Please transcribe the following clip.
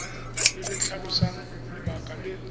le le tlhalosang lebaka le